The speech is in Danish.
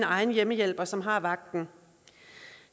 egen hjemmehjælper som har vagten